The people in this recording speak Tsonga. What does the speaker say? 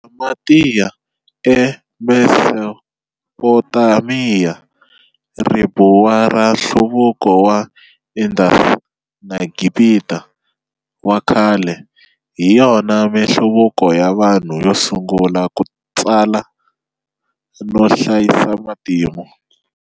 Sumertiya e Mesopotamiya, Ribuwa ra Nhluvuko wa Indus na Gibita wa khale hiyona minhluvuko ya vanhu yo sungula ku tsala, no hlayisa matimu.